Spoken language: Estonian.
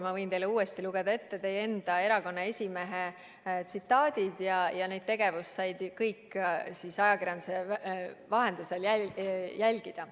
Ma võin teile uuesti lugeda ette teie enda erakonna esimehe tsitaadid, ja kogu seda tegevust said kõik ajakirjanduse vahendusel jälgida.